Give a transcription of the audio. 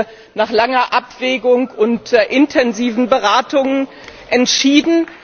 Das haben wir nach langer Abwägung und intensiven Beratungen entschieden.